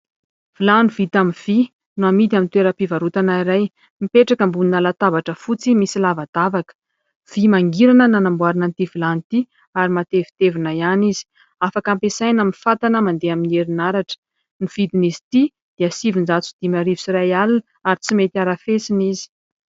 vilany vita amin'ny vy no amidy amin'ny toeram-pivarota ana iray mipetraka ambony latabatra fotsy misy lavadavaka. Vy mangirana nanamboarina an'ity Vilany ity ary matevitevina ihany izy. Afaka ampesaina amin'ny fantana mandeha amin'ny herinaratra. Ny vidin'izy ity dia sivin-jato sy dimy arivo sy iray alina ary tsy mety arafesina izy.